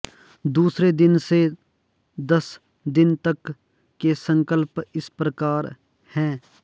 दूसरे दिन से दस दिन तक के संकल्प इस प्रकार है